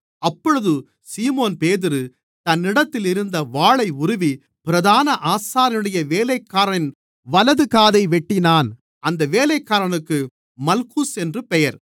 அப்பொழுது சீமோன்பேதுரு தன்னிடத்தில் இருந்த வாளை உருவி பிரதான ஆசாரியனுடைய வேலைக்காரனின் வலதுகாதை வெட்டினான் அந்த வேலைக்காரனுக்கு மல்குஸ் என்று பெயர்